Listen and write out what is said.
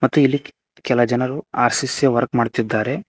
ಮತ್ತು ಇಲ್ಲಿ ಕೆಲ ಜನರು ಆರ್_ಸಿ_ಸಿ ಯ ವರ್ಕ್ ಮಾಡ್ತಿದ್ದಾರೆ.